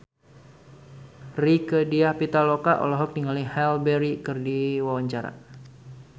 Rieke Diah Pitaloka olohok ningali Halle Berry keur diwawancara